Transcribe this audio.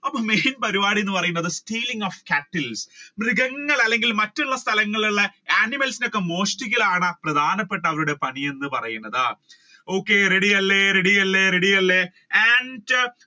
അപ്പൊ main പരിപാടി എന്ന് പറയുന്നത് stealing of cattles മൃഗങ്ങൾ അല്ലെങ്കിൽ മറ്റുള്ള സ്ഥലങ്ങളിൽ ഉള്ള animals നെ ഒക്കെ മോഷ്ട്ടിക്കലാണ് പ്രധാനപ്പെട്ട അവരുടെ പണി എന്ന് പറയുന്നത്. okay ready അല്ലെ ready അല്ലെ